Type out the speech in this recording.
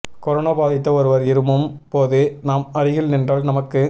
corona பாதித்த ஒருவர் இருமும் போது நாம் அருகில் நின்றால் நமக்கு